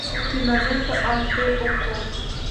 кинолента аш дэ окко